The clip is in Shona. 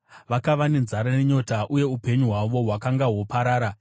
Vakava nenzara nenyota, uye upenyu hwavo hwakanga hwoparara.